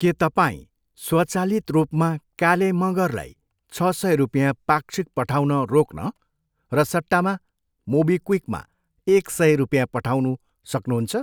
के तपाईँ स्वचालित रूपमा काले मँगरलाई छ सय रुपियाँ पाक्षिक पठाउन रोक्न र सट्टामा मोबिक्विकमा एक सय रुपियाँ पठाउनु सक्नुहुन्छ?